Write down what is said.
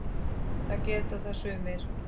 Það geta það sumir.